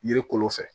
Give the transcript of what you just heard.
Yiri kolo fɛ